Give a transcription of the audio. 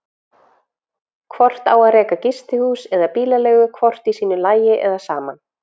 Hvort á að reka gistihús og bílaleigu hvort í sínu lagi eða saman?